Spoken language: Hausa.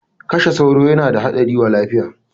Kashe sauro yana da haɗari wa lafiya!